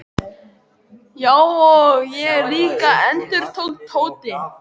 Já, og ég líka endurtók Tóti.